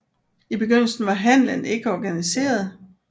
I begyndelsen var handelen ikke organiseret